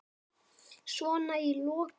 Svona í lokin.